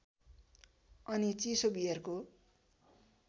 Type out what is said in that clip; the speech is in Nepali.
अनि चिसो बियरको